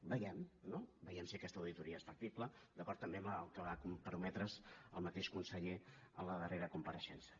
vegemho no vegem si aquesta auditoria és factible d’acord també amb el que s’hi va comprometre el mateix conseller en la darrera compareixença